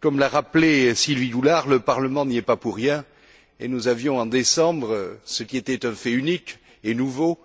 Comme l'a rappelé Sylvie Goulard, le Parlement n'y est pas pour rien et nous avions, en décembre, ce qui était un fait unique et nouveau,